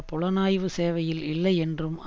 புலனாய்வு சேவையில் இல்லையென்றும்